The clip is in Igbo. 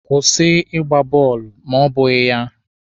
Kwụsị Ịgba bọọlụ ma ọ bụghị ya!